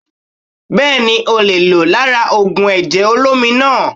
Bẹ́ẹ̀ni o le è lò lára ògùn èjè olómi naa